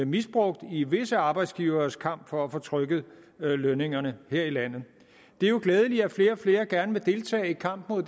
misbrugt i visse arbejdsgiveres kamp for at få trykket lønningerne her i landet det er jo glædeligt at flere og flere gerne vil deltage i kampen mod